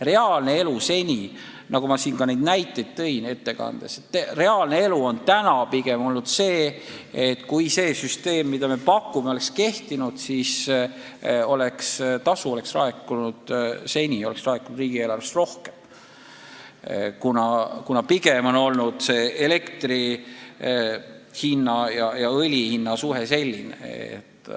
Reaalne elu, nagu ma ka oma ettekandes näiteid tõin, on pigem olnud selline, et kui see süsteem, mida me nüüd pakume, oleks kehtinud, siis oleks riigieelarvesse rohkem keskkonnatasu laekunud, kuna elektri ja õli hinna suhe on pigem olnud selline.